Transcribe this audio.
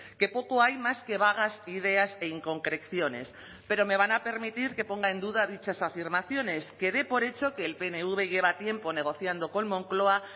que poco hay más que vagas ideas e inconcreciones pero me van a permitir que ponga en duda dichas afirmaciones que dé por hecho que el pnv lleva tiempo negociando con moncloa